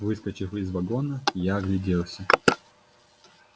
выскочив из вагона я огляделся